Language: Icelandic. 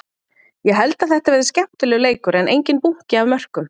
Ég held að þetta verði skemmtilegur leikur en enginn bunki af mörkum.